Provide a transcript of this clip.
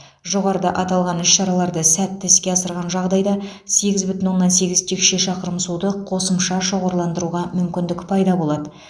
жоғарыда аталған іс шараларды сәтті іске асырған жағдайда сегіз бүтін оннан сегіз текше шақырым суды қосымша шоғырландыруға мүмкіндік пайда болады